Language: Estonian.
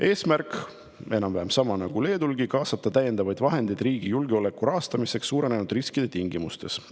Eesmärk on enam-vähem sama nagu Leedulgi: kaasata täiendavaid vahendeid riigi julgeoleku rahastamiseks suurenenud riskide tingimustes.